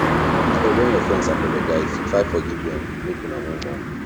abeg wen you friends apologize try forgive dem make una move on